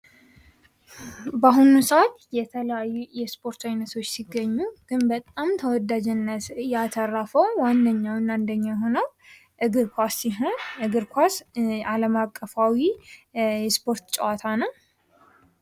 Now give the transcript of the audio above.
በአሁኑ ሰአት የተለያዩ የስፖርት ዓይነቶች ሲገኙ ግን በጣም ተወዳጅነት ያተረፈው ዋነኛውና አንደኛ የሆነው እግር ኳስ ሲሆን እግር ኳስ አለም አቀፋዊ የስፖርት ጨዋታ ነው።